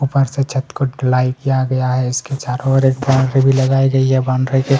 ऊपर से छत को ढलाई किया गया है इसके चारों और एक बॉउंड्री भी लगाई गई है बॉउंड्री के--